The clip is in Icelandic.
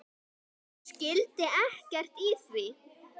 Hún skildi ekkert í því.